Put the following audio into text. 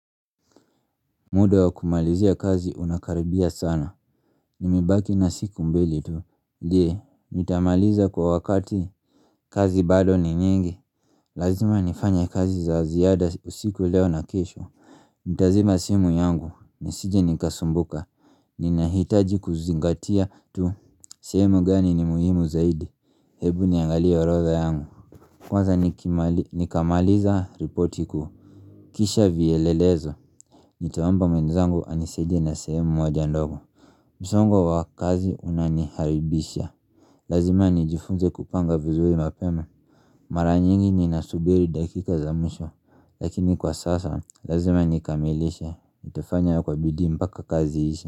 Muda wa kumalizia kazi unakaribia sana Nimebaki na siku mbili tu je, nitamaliza kwa wakati kazi bado ni nyingi Lazima nifanya kazi za ziada usiku leo na kesho Nitazima simu yangu, nisije nikasumbuka Ninahitaji kuzingatia tu sehemu gani ni muhimu zaidi Hebu niangalia orodha yangu Kwanza nikima nikamaliza ripoti kuu Kisha vielelezo nitaomba mwenzangu anisaidie na sehemu moja ndogo Misongo wa kazi unaniharibisha Lazima nijifunze kupanga vizuri mapema Mara nyingi ninasubiri dakika za mwisho Lakini kwa sasa, lazima nikamilishe Nitafanya kwa bidii mpaka kazi iishe.